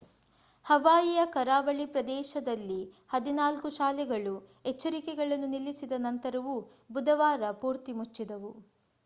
ಹವಾಯಿಯ ಕರಾವಳಿ ಪ್ರದೇಶದಲ್ಲಿ ಹದಿನಾಲ್ಕು ಶಾಲೆಗಳು ಎಚ್ಚರಿಕೆಗಳನ್ನು ನಿಲ್ಲಿಸಿದ ನಂತರವೂ ಬುಧವಾರ ಪೂರ್ತಿ ಮುಚ್ಚಿದ್ದವು